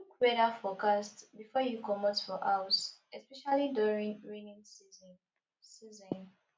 look weather forecast before you comot for house especially during rainy season season